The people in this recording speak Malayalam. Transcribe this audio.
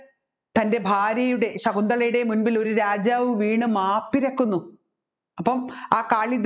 തൻ്റെ ഭാര്യയുടെ ശകുന്തളയുടെ മുൻപിൽ ഒരു രാജാവ് വീണു മാപ്പിരക്കുന്നു അപ്പോം ആ